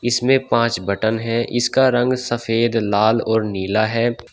इसमें पांच बटन है इसका रंग सफेद लाल और नीला है।